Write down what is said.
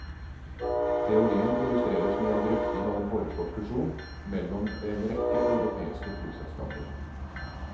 Teorien illustreres med en drøfting av en foreslått fusjon mellom en rekke europeiske flyselskaper.